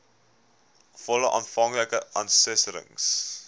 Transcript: volle aanvanklike assessering